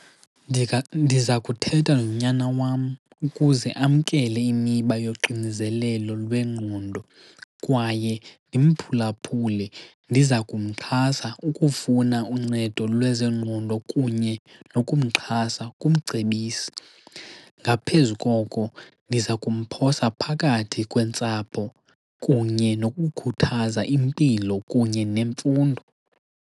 Ndiza kuthetha nonyana wam ukuze amkele imiba yoxinzelelo lwengqondo kwaye ndimphulaphule. Ndiza kumxhasa ukufuna uncedo lwezengqondo kunye nokumxhasa kumcebisi. Ngaphezu koko ndiza kumphosa phakathi kwentsapho kunye nokukhuthaza impilo kunye nemfundo.